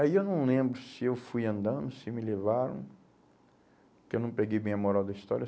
Aí eu não lembro se eu fui andando, se me levaram, porque eu não peguei bem a moral da história.